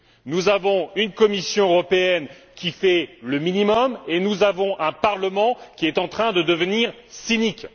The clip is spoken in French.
Nous avons une Commission européenne qui fait le minimum et nous avons un Parlement qui est en train de devenir cynique.